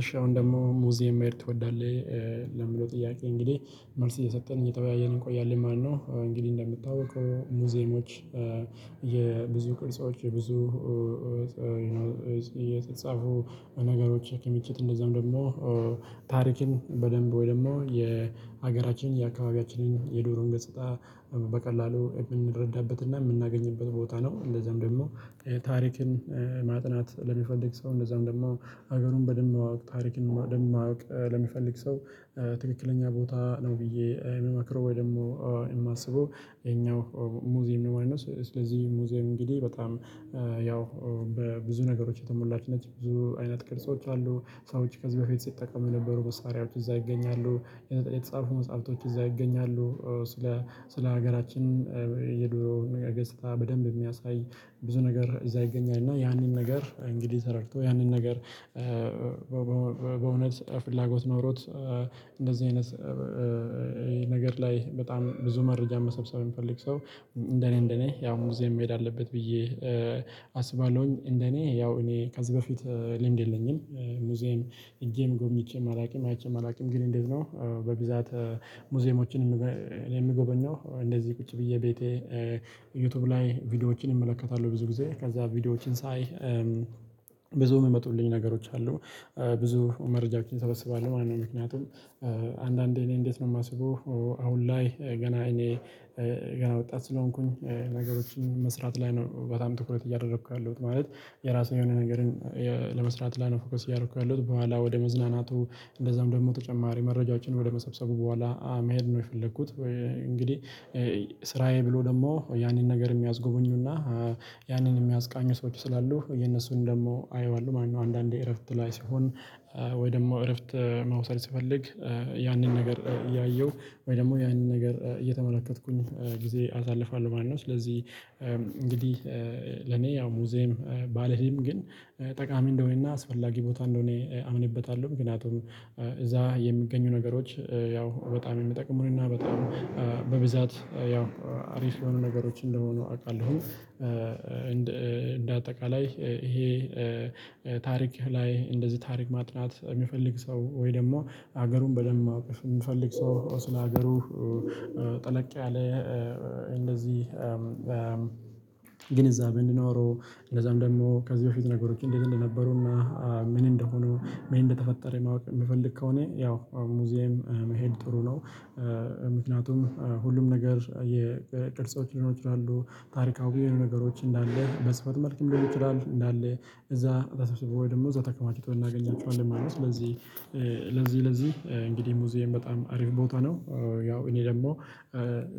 እሺ አሁን ደግሞ ሙዚየም መሄድ ትወዳለህ? ለሚለው ጥያቄ እንግዲህ መልስ እየሰጠን እየተወያየን እንቆያለን ማለት ነው። እንግዲህ እንደምታውቀው ሙዚየሞች የብዙ ቅርጾች የብዙ የተፃፉ ነገሮች ክምችት እንደዛም ደግሞ ታሪክን በደንብ ወይ ደግሞ የሀገራችን የአካባቢያችንን የድሮን ገጽታ በቀላሉ የምንረዳበትና የምናገኝበት ቦታ ነው። እንደዛም ደግሞ ታሪክን ማጥናት ለሚፈልግ ሰው እንደዛም ደግሞ ሀገሩን በደንብ ማወቅ ታሪክን ማወቅ ለሚፈልግ ሰው ትክክለኛ ቦታ ነው ብዬ የምመክረው ወይ ደግሞ የማስበው የኛው ሙዚየም ነው ማለት ነው። ስለዚህ ሙዚየም እንግዲህ በጣም ያው በብዙ ነገሮች የተሞላች ነች ብዙ አይነት ቅርጾች አሉ። ሰዎች ከዚህ በፊት ሲጠቀሙ የነበሩ መሳሪያዎች እዛ ይገኛሉ። የተጻፉ መጽሐፍቶች እዛ ይገኛሉ። ስለ ስለ ሀገራችን የድሮ ነገር ገጽታ በደንብ የሚያሳይ ብዙ ነገር እዛ ይገኛል። እና ያንን ነገር እንግዲህ ተረድቶ ያንን ነገር በእውነት ፍላጎት ኖሮት እንደዚህ አይነት ነገር ላይ በጣም ብዙ መረጃ መሰብሰብ የሚፈልግ ሰው እንደኔ እንደኔ ያው ሙዚየም መሄድ አለበት ብዬ አስባለሁኝ። እንደኔ ያው እኔ ከዚህ በፊት ልምድ የለኝም። ሙዚየም ሄጄም ጎብኝቼም አላውቅም አይቼም አላውቅም። ግን እንዴት ነው? በብዛት ሙዚየሞችን የምጎበኘው እንደዚህ ቁጭ ብዬ ቤቴ ዩቲዩብ ላይ ቪዲዮዎችን እመለከታለሁ። ብዙ ጊዜ ከዛ ቪዲዮዎችን ሳይ ብዙ የሚመጡልኝ ነገሮች አሉ ብዙ መረጃዎችን ሰበስባለሁ ማለት ነው። ምክንያቱም አንዳንዴ እኔ እንዴት ነው የማስበው? አሁን ላይ ገና እኔ ገና ወጣት ስለሆንኩኝ ነገሮችን መስራት ላይ ነው በጣም ትኩረት እያደረኩ ያለሁት ማለት። የራሴ የሆነ ነገርን ለመስራት ላይ ነው ፎከስ እያደረኩ ያለሁት። በኋላ ወደ መዝናናቱ እንደዛም ደግሞ ተጨማሪ መረጃዎችን ወደ መሰብሰቡ በኋላ መሄድ ነው የፈለኩት። እንግዲህ ስራዬ ብሎ ደግሞ ያንን ነገር የሚያስጎበኙና ያንን የሚያስቃኙ ሰዎች ስላሉ የእነሱን ደግሞ አየዋለሁ ማለት ነው። አንዳንዴ እረፍት ላይ ሲሆን ወይ ደግሞ እረፍት መውሰድ ስፈልግ ያንን ነገር እያየሁ ወይ ደግሞ ያንን ነገር እየተመለከትኩኝ ጊዜ አሳልፏል ማለት ነው። ስለዚህ እንግዲህ ለኔ ያው ሙዚየም ባላያም ግን ጠቃሚ እንደሆነና አስፈላጊ ቦታ እንደሆነ አምንበታለሁ። ምክንያቱም እዛ የሚገኙ ነገሮች ያው በጣም የሚጠቅሙንና በጣም በብዛት ያው አሪፍ የሆኑ ነገሮች እንደሆኑ አውቃለሁ። እንደ አጠቃላይ ይሄ ታሪክ ላይ እንደዚህ ታሪክ ማጥናት የሚፈልግ ሰው ወይ ደግሞ ሀገሩን በደንብ ማወቅ የሚፈልግ ሰው ስለ ሀገሩ ጠለቅ ያለ እንደዚህ ግንዛቤ እንዲኖረው እንደዛም ደግሞ ከዚህ በፊት ነገሮች እንደዛ እንደነበሩና ምን እንደሆኑ ምን እንደተፈጠረ ማወቅ የሚፈልግ ከሆነ ያው ሙዚየም መሄድ ጥሩ ነው። ምክንያቱም ሁሉም ነገር የቅርፆች ሊኖሩ ይችላሉ ታሪካዊ የሆኑ ነገሮች እንዳለ በስፋት መልክም ሊኖሩ ይችላል እንዳለ እዛ ተሰብስበው ወይ ደግሞ እዛ ተከማችተው እናገኛቸኋለን። ስለዚህ ለዚህ ለዚህ እንግዲህ ሙዚየም በጣም አሪፍ ቦታ ነው። ያው እኔ ደግሞ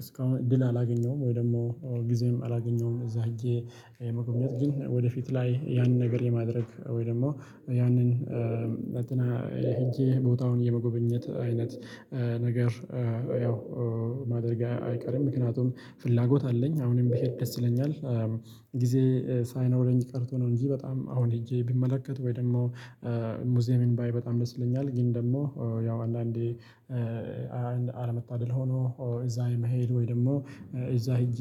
እስካሁን እድል አላገኘሁም ወይ ደግሞ ጊዜም አላገኘሁም እዛ ሄጄ መጎብኘት ግን ወደፊት ላይ ያንን ነገር የማድረግ ወይ ደግሞ ያንን ሄጄ ቦታውን የመጎበኘት አይነት ነገር ያው ማድረጌ አይቀርም ምክንያቱም ፍላጎት አለኝ አሁንም ቢሄድ ደስ ይለኛል። ጊዜ ሳይኖረኝ ቀርቶ ነው እንጂ በጣም አሁን ሄጄ ቢመለከት ወይ ደግሞ ሙዚየምን ባይ በጣም ደስ ይለኛል። ግን ደግሞ ያው አንዳንዴ አለመታደል ሆኖ እዛ የመሄድ ወይ ደግሞ እዛ ሄጄ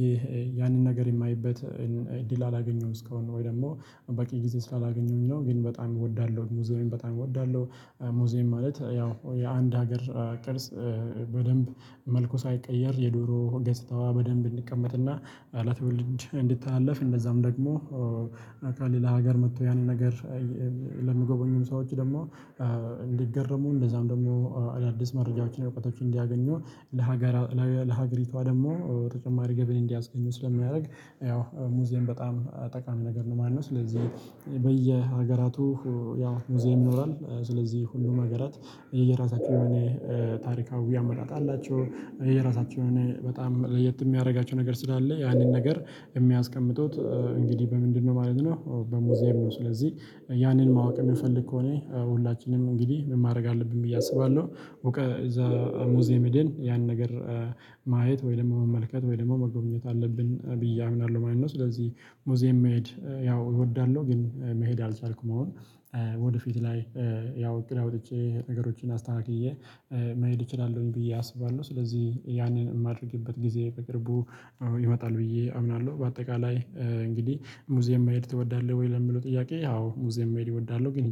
ያንን ነገር የማይበት እድል አላገኘውም እስካሁን ወይ ደግሞ በቂ ጊዜ ስላላገኘሁኝ ነው ግን በጣም እወዳለሁ ሙዚየም በጣም እወዳለሁ። ሙዚየም ማለት ያው የአንድ ሀገር ቅርጽ በደንብ መልኩ ሳይቀየር የድሮ ገፅታዋ በደንብ እንዲቀመጥና ለትወልድ እንዲተለታለፍ እንደዛም ደግሞ ከሌላ ሀገር መጥቶ ያኔ ነገር ለሚጎበኙም ሰዎች ደግሞ እንዲገረሙ እንደዛም ደግሞ አዳዲስ መረጃዎችን እውቀቶችን እንዲያገኙ ለሀገር ለሀገሪቷ ደግሞ ተጨማሪ ገቢ እንዲያስገኝ ስለሚያደርግ ያው ሙዚየም በጣም ጠቃሚ ነገር ነው ማለት ነው። ስለዚህ በየሀገራቱ ያው ሙዚየም ይኖራል። ስለዚህ ሁሉ ሀገራት የየራሳቻው የሆነ ታሪካዊ አመጣጥ አላቸው። የየራሳቸው የሆነ በጣም ለየት የሚያደርጋቸው ነገር ስላለ ያንን ነገር የሚያስቀምጡት እንግዲህ በምንድነው ማለት ነው። በሙዚየም ነው። ስለዚህ ያንን ማወቅ የሚፈልግ ከሆነ ሁላችንም እንግዲህ ምን ማድረግ አለብን ብዬ አስባለሁ። እዛ ሙዚየም ሄደን ያን ነገር ማየት ወይ ደሞ መመልከት ወይ ደሞ መጎብኘት አለብን። ብዬ አምናለሁ ማለት ነው። ስለዚህ ሙዚየም መሄድ ያው እወዳለሁ ግን መሄድ አልቻልኩም። አሁን ወደፊት ላይ ያው እቅድ አውጥቼ ነገሮችን አስተካክዬ መሄድ እችላለሁኝ ብዬ አስባለሁ። ስለዚህ ያንን የማደርግበት ጊዜ በቅርቡ ይመጣል ብዬ አምናለሁ። በአጠቃላይ እንግዲህ ሙዚየም መሄድ ትወዳለህ? ወይ ለምለው ጥያቄ አዎ ሙዚየም መሄድ እወዳለሁ ግን